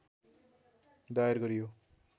दायर गरियो